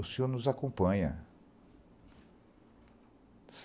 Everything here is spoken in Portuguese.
O senhor nos acompanha.